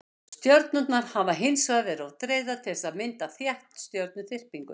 stjörnurnar hafa hins vegar verið of dreifðar til þess að mynda þétta stjörnuþyrpingu